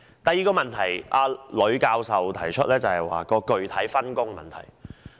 第二，呂教授提出具體分工的問題。